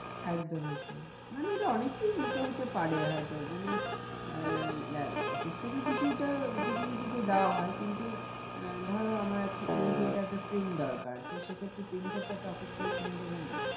একদম একদম মানে এটা অনেককেই নিতে হতে পারে হয় তো মানে আহ office থেকে কিছুটা facility তো দেওয়া হয় কিন্তু আহ ধরো আমার immediate একটা paint দরকার তো সে ক্ষেত্রে printer টা তো office থেকে কিনে দেবে না।